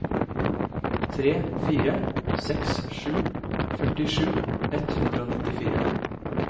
tre fire seks sju førtisju ett hundre og nittifire